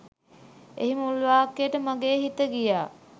එහි මුල් වාක්‍යට මගේ හිත ගියා.